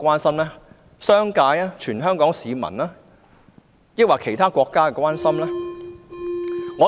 是商界、全港市民或其他國家的關心嗎？